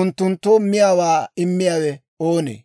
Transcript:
unttunttoo miyaawaa immiyaawe oonee?